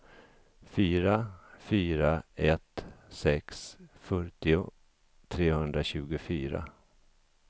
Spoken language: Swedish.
fyra fyra ett sex fyrtio trehundratjugofyra